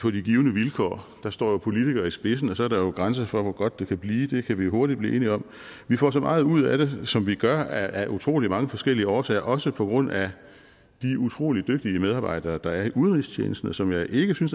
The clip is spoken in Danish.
på de givne vilkår der står politikere i spidsen og så er der jo grænser for hvor godt det kan blive det kan vi hurtigt blive enige om vi får så meget ud af det som vi gør af utrolig mange forskellige årsager også på grund af de utrolig dygtige medarbejdere der er i udenrigstjenesten og som jeg ikke synes at